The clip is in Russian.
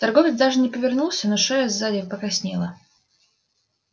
торговец даже не повернулся но его шея сзади покраснела